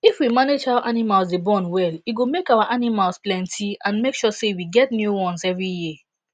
if we manage how animals dey born well e go make our animals plenty and make sure say we get new ones every year